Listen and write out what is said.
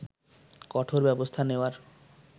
কঠোর ব্যবস্থা নেওয়ার